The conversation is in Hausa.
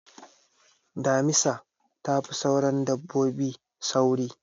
Damisa ta fi sauran dabbobi sauri.